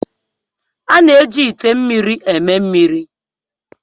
A na-eji ite mmiri eme mmiri.